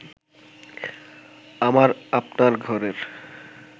আমার আপনার ঘরের